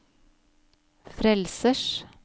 frelsers